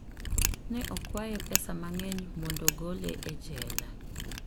Ne okwaye pesa mang'eny mondo ogole e jela.